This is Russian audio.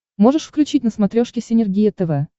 можешь включить на смотрешке синергия тв